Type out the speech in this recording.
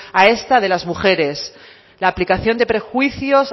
a esta de las mujeres la aplicación de prejuicios